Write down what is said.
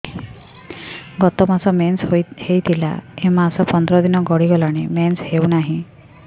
ଗତ ମାସ ମେନ୍ସ ହେଇଥିଲା ଏ ମାସ ପନ୍ଦର ଦିନ ଗଡିଗଲାଣି ମେନ୍ସ ହେଉନାହିଁ